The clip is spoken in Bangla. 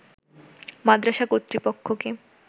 মাদরাসা কর্তৃপক্ষকে